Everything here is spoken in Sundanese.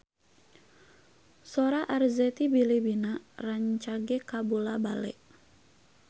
Sora Arzetti Bilbina rancage kabula-bale